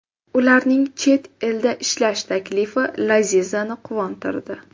Ularning chet elda ishlash taklifi Lazizani quvontirdi.